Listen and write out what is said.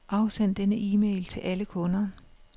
Afsend denne e-mail til alle kunder.